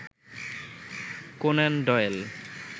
Conan Doyle